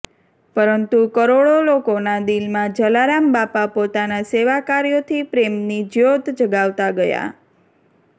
પરંતુ કરોડો લોકોના દિલમાં જલારામ બાપા પોતાના સેવાકાર્યોથી પ્રેમની જ્યોત જગાવતા ગયા